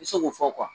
I se k'o fɔ